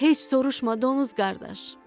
Heç soruşma donuz qardaş.